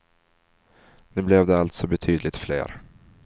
Nu blev det alltså betydligt fler.